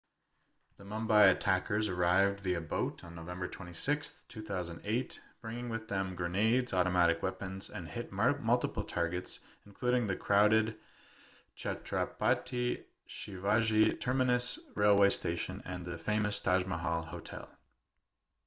the mumbai attackers arrived via boat on novemeber 26 2008 bringing with them grenades automatic weapons and hit multiple targets including the crowded chhatrapati shivaji terminus railway station and the famous taj mahal hotel